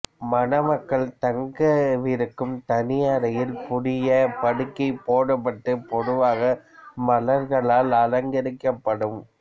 மணமக்கள் தங்கவிருக்கும் தனி அறையில் புதிய படுக்கை போடப்பட்டு பொதுவாக மலர்களால் அலங்கரிக்கப்படும்